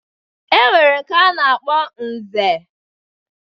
E nwere nke a na-akpọ Nze.